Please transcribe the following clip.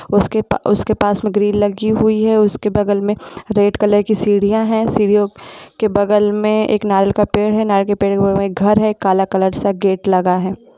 उसके प उसके पास में ग्रिल लगी हुई है उसके बगल में रेड कलर की सीढ़ियाँ हैं सीढ़ियों के बगल में एक नारियल का पेड़ है नारियल के पेड़ में एक घर है कला कलर सा गेट लगा है ।